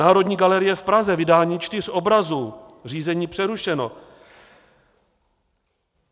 Národní galerie v Praze - vydání čtyř obrazů, řízení přerušeno.